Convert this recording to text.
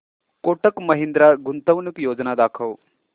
कोटक महिंद्रा गुंतवणूक योजना दाखव